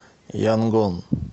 янгон